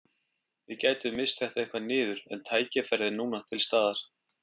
Við gætum misst þetta eitthvað niður en tækifærið er núna til staðar.